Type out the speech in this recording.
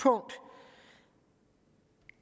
hårdere og